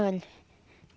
Olha.